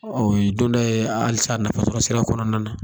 Ɔ o y'i don tɔ ye alisa nafa sɔrɔ sira kɔnɔna na